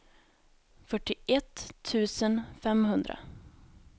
fyrtioett tusen femhundra